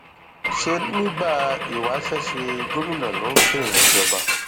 ṣé nígbà ìwáṣẹ ṣe gómìnà ló ń fẹẹyàn jọba